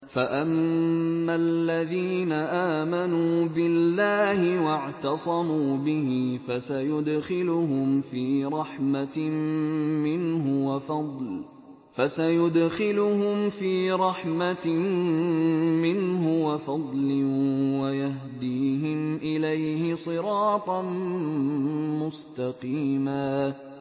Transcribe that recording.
فَأَمَّا الَّذِينَ آمَنُوا بِاللَّهِ وَاعْتَصَمُوا بِهِ فَسَيُدْخِلُهُمْ فِي رَحْمَةٍ مِّنْهُ وَفَضْلٍ وَيَهْدِيهِمْ إِلَيْهِ صِرَاطًا مُّسْتَقِيمًا